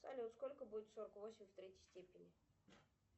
салют сколько будет сорок восемь в третьей степени